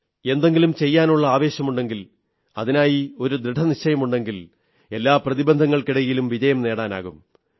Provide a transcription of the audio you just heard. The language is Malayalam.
എന്തെങ്കിലും ചെയ്യാനുള്ള ആവേശമുണ്ടെങ്കിൽ അതിനായി ദൃഢനിശ്ചയമുണ്ടെങ്കിൽ എല്ലാ പ്രതിബന്ധങ്ങൾക്കിടയിലും വിജയം നേടാനാകും